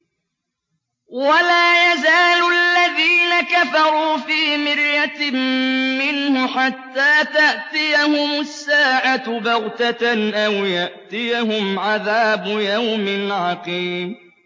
وَلَا يَزَالُ الَّذِينَ كَفَرُوا فِي مِرْيَةٍ مِّنْهُ حَتَّىٰ تَأْتِيَهُمُ السَّاعَةُ بَغْتَةً أَوْ يَأْتِيَهُمْ عَذَابُ يَوْمٍ عَقِيمٍ